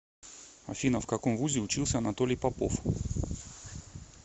афина в каком вузе учился анатолий попов